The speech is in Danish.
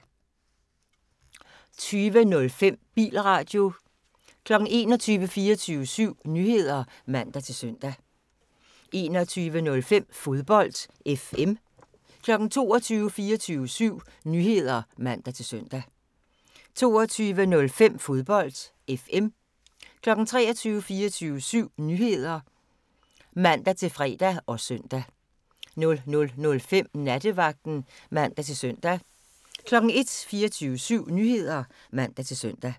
20:05: Bilradio 21:00: 24syv Nyheder (man-søn) 21:05: Fodbold FM 22:00: 24syv Nyheder (man-søn) 22:05: Fodbold FM 23:00: 24syv Nyheder (man-søn) 23:05: Datolinjen (man-tor) 00:00: 24syv Nyheder (man-fre og søn) 00:05: Nattevagten (man-søn) 01:00: 24syv Nyheder (man-søn)